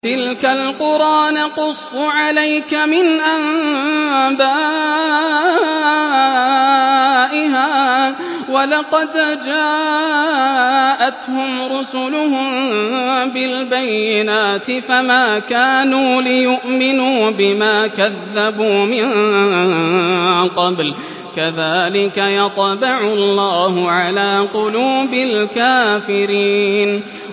تِلْكَ الْقُرَىٰ نَقُصُّ عَلَيْكَ مِنْ أَنبَائِهَا ۚ وَلَقَدْ جَاءَتْهُمْ رُسُلُهُم بِالْبَيِّنَاتِ فَمَا كَانُوا لِيُؤْمِنُوا بِمَا كَذَّبُوا مِن قَبْلُ ۚ كَذَٰلِكَ يَطْبَعُ اللَّهُ عَلَىٰ قُلُوبِ الْكَافِرِينَ